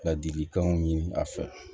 Ladilikanw ɲini a fɛ